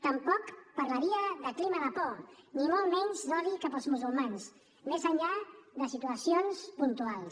tampoc parlaria de clima de por ni molt menys d’odi cap als musulmans més enllà de situacions puntuals